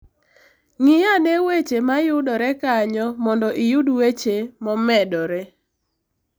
Ng'i ane weche ma yudore kanyo mondo iyud weche momedore.